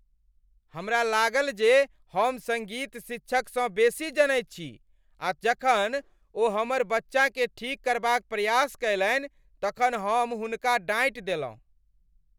हमरा लागल जे हम सङ्गीत शिक्षकसँ बेसी जनैत छी आ जखन ओ हमर बच्चाकेँ ठीक करबाक प्रयास कयलनि तखन हम हुनका डाँटि देलहुँ ।